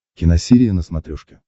киносерия на смотрешке